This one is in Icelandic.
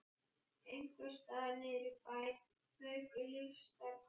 Einhvers staðar niðri í bæ fauk lífsstarf hans.